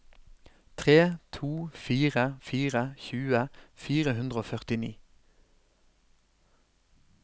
tre to fire fire tjue fire hundre og førtini